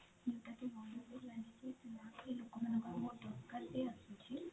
ଯୋଉଟା କି ଲୋକ ମାନଙ୍କର ଦରକାର ବି ଆସୁଛି